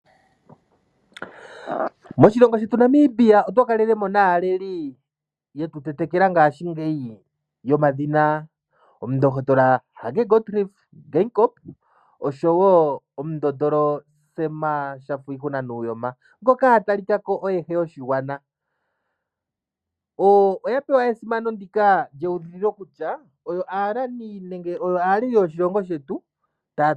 Moshilongo shetu NAmibia otwa kalele mo naaleli yetu tetekela ngaashingeyi yomadhina: Omundohotola Hage Gottfried Geingob oshowo Omundotolo Sam Nuujoma ngoka oye a talika ko oye he yoshigwana. Oya pewa esimano ndika lyewuliko kutya oyo aaleli yoshilongo shetu, paku tulwa koshimaliwa.